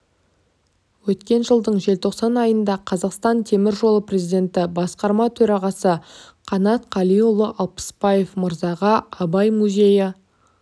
өткен жылдың желтоқсан айында қазақстан темір жолы президенті басқарма төрағасы қанат қалиұлы алпысбаев мырзаға абай музейі